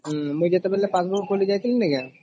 ହଁ ମୁଇ ଯେତେବେଳେ passbook ଖୋଲି ଯାଇଥିଲିନକ